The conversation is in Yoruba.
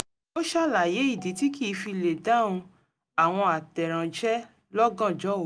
ó ṣàlàyé ìdí tí kìí fi lè dáhùn àwọn àtẹ̀ránṣẹ́ lọ́gàjnọ́ òru